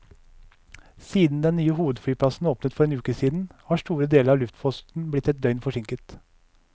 Siden den nye hovedflyplassen åpnet for en uke siden, har store deler av luftposten blitt ett døgn forsinket.